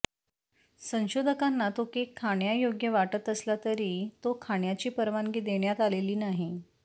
संशोधकांना तो केक खाण्यायोग्य वाटत असला तरी तो खाण्याची परवानगी देण्यात आलेली नाही